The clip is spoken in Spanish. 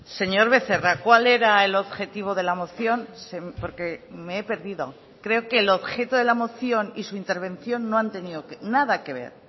señor becerra cuál era el objetivo de la moción porque me he perdido creo que el objeto de la moción y su intervención no han tenido nada que ver